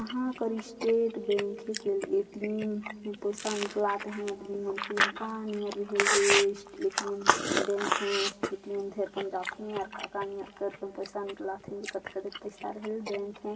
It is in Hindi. यहाँ कर स्टेट बैंक के ए_टी_एम है पैसा निकलात हैं आदमी मन ए_टी_एम बैंक है ए_टी_एम बैंक है।